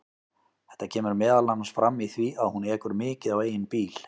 Þetta kemur meðal annars fram í því að hún ekur mikið á eigin bíl.